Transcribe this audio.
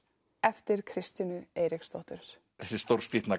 eftir Kristínu Eiríksdóttur þessi